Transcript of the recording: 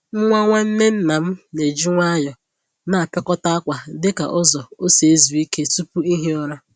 Nwa nwanne nna m na-eji nwayọọ na-apịakọta akwa dị ka ụzọ ọ si ezu Ike tupu ihi ụra